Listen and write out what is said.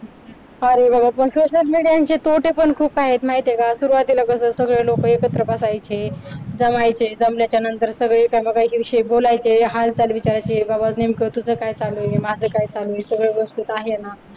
social media चे तोटे पण खूप आहेत माहितीये का सुरुवातीला सगळे लोक एकत्र बसायचे, जमायचे, जमल्यानंतर सगळे कामकाजाविषयी बोलायचे, हालचाल विचारायचे, बाबा नेमकं तुझं काय चालू आहे, माझं काय चालू आहे, सगळं व्यवस्थित आहे ना.